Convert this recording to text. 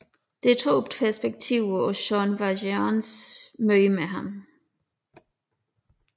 Der er to perspektiver på Jean Valjeans møde med ham